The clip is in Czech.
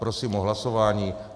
Prosím o hlasování.